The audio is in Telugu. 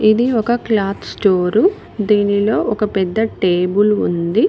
ఇది ఒక క్లాత్ స్టోరూ దీనిలో ఒక పెద్ద టేబుల్ ఉంది.